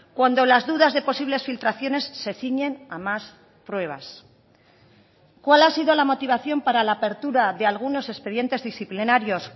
cuando las dudas de posibles filtraciones se ciñen a más pruebas cuál ha sido la motivación para la apertura de algunos expedientes disciplinarios